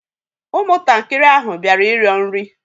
Ụmụntakịrị ahụ bịara ịrịọ nri